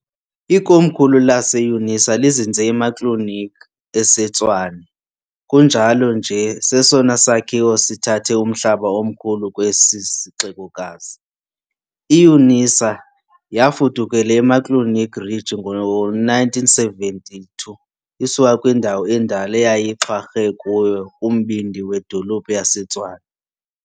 Ikomkhulu lase-unisa lizinze eMuckleneuk eseTshwane, kunjalo nje sesona sakhiwo sithathe umhlaba omkhulu kwesi sixekokazi. I-UNISA yafudukela eMuckleneuk Ridge ngo-1972 isuka kwindawo endala neyayixhwarhe kuyo kumbindi wedolophu yaseTshwane.